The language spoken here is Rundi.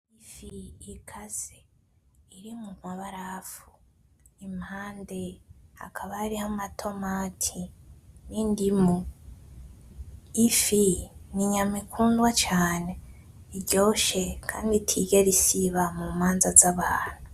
Ifi ikase, iri mumabarafu impande hakaba hariho amatomati n'indimu, ifi ni inyama ikundwa cane, iryoshe kandi itigera isiba mumanza zabantu .